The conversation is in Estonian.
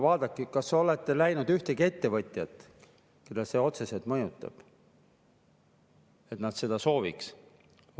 No kas olete näinud ühtegi ettevõtjat, keda see otseselt mõjutab ja kes seda sooviks?